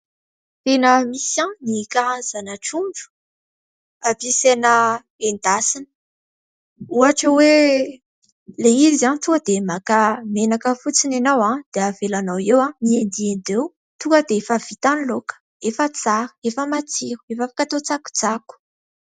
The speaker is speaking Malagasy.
Tena misy ny karazana trondro ampiasaina endasina ohatra hoe : ilay izy tonga dia maka menaka fotsiny ianao dia avelanao eo mendimendy eo ; tonga dia efa vita ny laoka, efa tsara, efa matsiro, efa afaka atao tsakotsako.